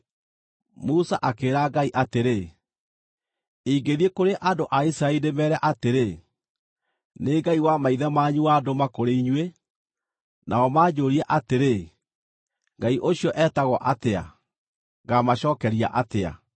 Musa akĩĩra Ngai atĩrĩ, “Ingĩthiĩ kũrĩ andũ a Isiraeli ndĩmeere atĩrĩ, ‘Nĩ Ngai wa maithe manyu wandũma kũrĩ inyuĩ,’ nao manjũũrie atĩrĩ, ‘Ngai ũcio etagwo atĩa?’ ngaamacookeria atĩa?”